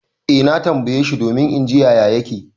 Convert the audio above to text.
Eh na tambaye shi domin in ji yaya yake.